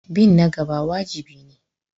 Bin na gaba wajibi ne.